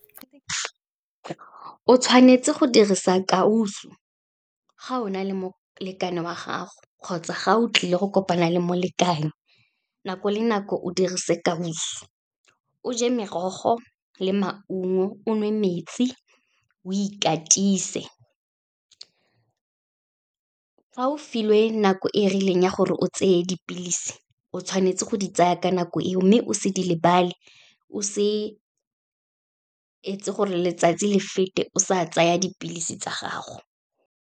O tshwanetse go dirisa kausu, ga o na le molekane wa gago, kgotsa ga o tlile go kopana le molekane nako le nako, o dirise kausu. O je merogo le maungo, o nwe metsi, o ikatise. Fa o filwe nako e e rileng ya gore o tseye dipilisi, o tshwanetse go di tsaya ka nako eo mme o se di lebale. O se etse gore letsatsi le fete o sa tsaya dipilisi tsa gago.